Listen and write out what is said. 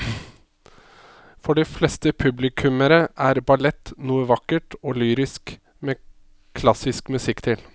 For de fleste publikummere er ballett noe vakkert og lyrisk med klassisk musikk til.